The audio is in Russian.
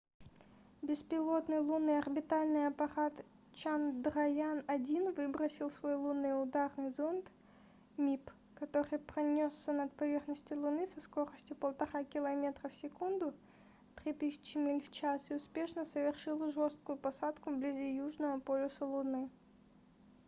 беспилотный лунный орбитальный аппарат чандраян-1 выбросил свой лунный ударный зонд mip который пронёсся над поверхностью луны со скоростью 1,5 километра в секунду 3000 миль в час и успешно совершил жесткую посадку вблизи южного полюса луны